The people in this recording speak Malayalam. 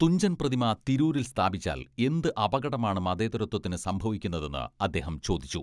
തുഞ്ചൻ പ്രതിമ തിരൂരിൽ സ്ഥാപിച്ചാൽ എന്ത് അപകടമാണ് മതേതരത്വത്തിന് സംഭവിക്കുന്നതെന്ന് അദ്ദേഹം ചോദിച്ചു.